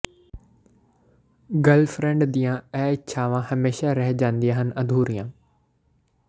girlfriend ਦੀਆਂ ਇਹ ਇਛਾਵਾਂ ਹਮੇਸ਼ਾ ਰਹਿ ਜਾਂਦੀਆਂ ਹਨ ਅਧੂਰੀਆਂ